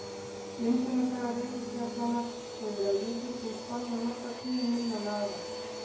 Myndunarsaga reikistjarnanna hefur að líkindum spannað nokkra tugi milljóna ára.